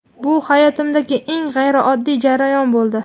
Bu hayotimdagi eng g‘ayrioddiy jarayon bo‘ldi.